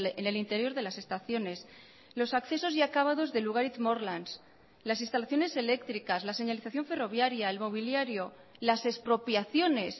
en el interior de las estaciones los accesos y acabados de lugaritz morlans las instalaciones eléctricas la señalización ferroviaria el mobiliario las expropiaciones